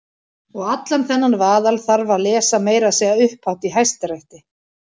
Og allan þennan vaðal þarf að lesa- meira að segja upphátt í Hæstarétti!